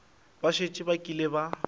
ba šetše ba kile ba